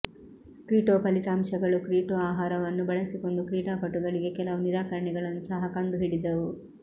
ಕ್ರೀಟೊ ಫಲಿತಾಂಶಗಳು ಕ್ರೀಟೊ ಆಹಾರವನ್ನು ಬಳಸಿಕೊಂಡು ಕ್ರೀಡಾಪಟುಗಳಿಗೆ ಕೆಲವು ನಿರಾಕರಣೆಗಳನ್ನು ಸಹ ಕಂಡುಹಿಡಿದವು